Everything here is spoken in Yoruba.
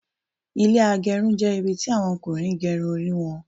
Ilẹ́ agerun jẹ́ ibi tí àwọn Ọkùnrin gé Irun wọn